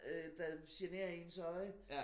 Øh der generer ens øje